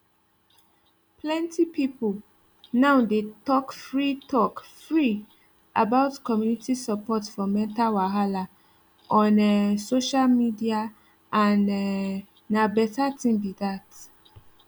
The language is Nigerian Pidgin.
plenty people now dey talk free talk free about community support for mental wahala on um social media and um na better thing be that